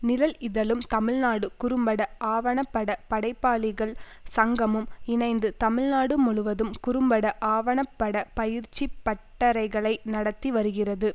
நிழல் இதழும் தமிழ்நாடு குறும்பட ஆவணப்பட படைப்பாளிகள் சங்கமும் இணைந்து தமிழ்நாடு முழுவதும் குறும்பட ஆவணப்பட பயிற்சி பட்டறைகளை நடத்தி வருகிறது